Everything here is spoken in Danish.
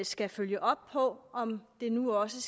skal følge op på om det nu også